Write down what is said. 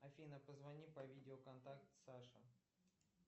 афина позвони по видео контакт саше